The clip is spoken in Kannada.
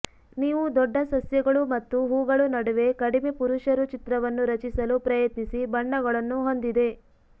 ನೀವು ದೊಡ್ಡ ಸಸ್ಯಗಳು ಮತ್ತು ಹೂಗಳು ನಡುವೆ ಕಡಿಮೆ ಪುರುಷರು ಚಿತ್ರವನ್ನು ರಚಿಸಲು ಪ್ರಯತ್ನಿಸಿ ಬಣ್ಣಗಳನ್ನು ಹೊಂದಿದೆ